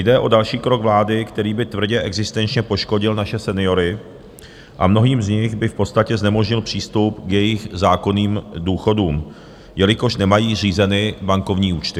Jde o další krok vlády, který by tvrdě existenčně poškodil naše seniory a mnohým z nich by v podstatě znemožnil přístup k jejich zákonným důchodům, jelikož nemají řízeny bankovní účty.